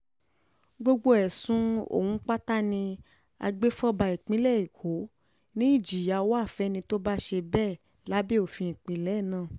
gbogbo ẹ̀sùn ọ̀hún pátá ni agbèfọ́ba ìpínlẹ̀ èkó um ni ìjìyà wá fẹ́ni tó bá ṣe um bẹ́ẹ̀ lábẹ́ òfin ìpínlẹ̀ náà